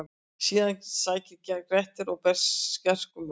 Síðan sækir Grettir að berserkjum og: